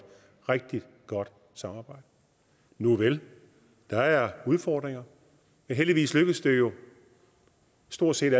rigtig godt samarbejde nuvel der er udfordringer men heldigvis lykkes det jo stort set